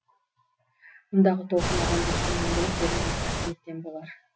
мұндағы толқын адамзатқа мәңгілік берілген қасиеттен болар